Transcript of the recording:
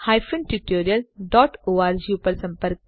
જોડાવા બદ્દલ આભાર